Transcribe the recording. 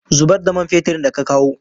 Zubar da man feturin da ka kawo!